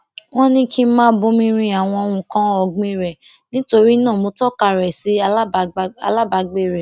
wón ní kí n máa bomi rin àwọn nnkan ọgbìn rè nítorí náà mo tọka rẹ sí alábàgbé rè